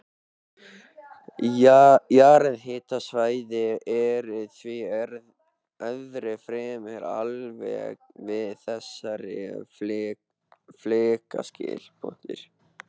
Jarðhitasvæði eru því öðru fremur algeng við þessi flekaskil.